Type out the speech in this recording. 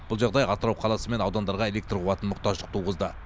бұл жағдай атырау қаласы мен аудандарға электр қуатына мұқтаждық туғызды